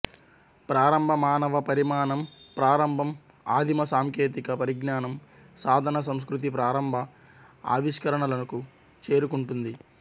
ప్రారంభ మానవ పరిణామం ప్రారంభం ఆదిమ సాంకేతిక పరిజ్ఞానం సాధన సంస్కృతి ప్రారంభ ఆవిష్కరణలకు చేరుకుంటుంది